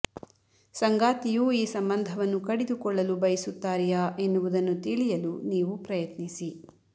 ಸಂಗಾತಿಯು ಈ ಸಂಬಂಧವನ್ನು ಕಡಿದೊಕೊಳ್ಳಲು ಬಯಸುತ್ತಾರೆಯಾ ಎನ್ನುವುದನ್ನು ತಿಳಿಯಲು ನೀವು ಪ್ರಯತ್ನಿಸಿ